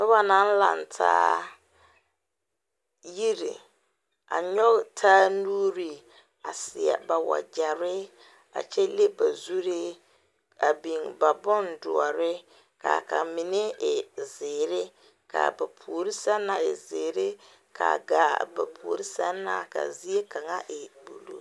Noba naŋ laŋtaa yiri a nyɔge taa nuuri a seɛ ba wayɛre a kyɛ leŋ ba zuree a biŋ ba bondoɔre ka a mine e zeere ka a ba puori sɛŋ na e zeere ka a gaa ba puori sɛŋ na ka e.